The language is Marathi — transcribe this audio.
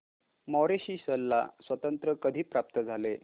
मॉरिशस ला स्वातंत्र्य कधी प्राप्त झाले